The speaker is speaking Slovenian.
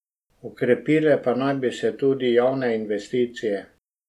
Okrepile pa naj bi se tudi javne investicije.